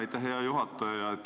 Aitäh, hea juhataja!